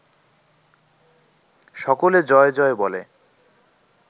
সকলে ‘জয় জয়’ বলে